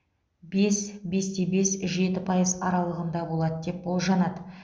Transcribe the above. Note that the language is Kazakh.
бес бес те бес жеті пайыз аралығында болады деп болжанады